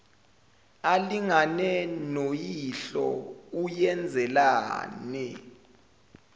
alingane noyihlo uyenzelani